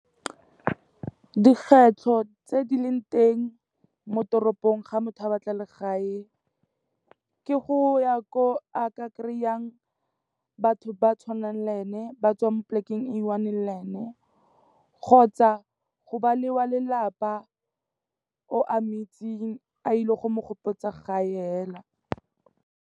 Dikgwetlho tse di leng teng mo toropong ga motho a batla legae, ke go ya ko a ka kry-ang batho ba tshwanang le ene ba tswang polekeng e i-one le ene, kgotsa go ba lelelapa o a mo itseng a ile go mo gopotsa gae hela.